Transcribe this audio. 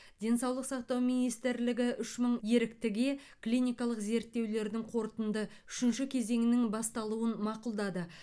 денсаулық сақтау министрлігі үш мың еріктіге клиникалық зерттеулердің қорытынды үшінші кезеңінің басталуын мақұлдады